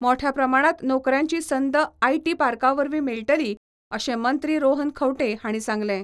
मोठ्या प्रमाणात नोकऱ्यांची संद आयटी पार्कावरवी मेळटली अशें मंत्री रोहन खंवटे हांणी सांगलें.